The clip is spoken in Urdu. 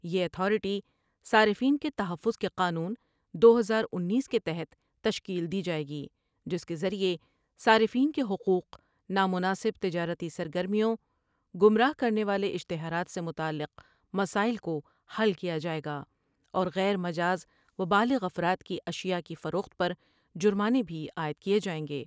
یہ اتھارٹی صارفین کے تحفظ کے قانون دو ہزار اینس کے تحت تشکیل دی جاۓ گی جس کے ذریعہ صارفین کے حقوق نامناسب تجارتی سرگرمیوں گمراہ کرنے والے اشتہارات سے متعلق مسائل کو حل کیا جائے گا اور غیر مجاز و بالغ افراد کی اشیاء کی فروخت پر جرمانے بھی عائد کیے جائیں گے ۔